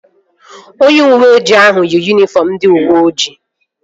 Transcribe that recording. Onye uweoji ahụ yi yunifọm ndị uweojii